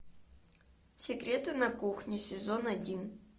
секреты на кухне сезон один